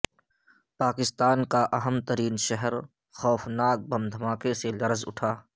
پاکستان کا اہم ترین شہر خوفناک بم دھماکے سے لر ز اٹھا